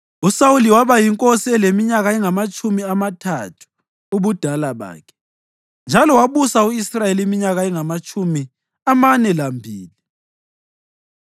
USawuli waba yinkosi eleminyaka engamatshumi amathathu ubudala bakhe, njalo wabusa u-Israyeli iminyaka engamatshumi amane lambili.